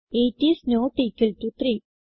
8 is not equal to 3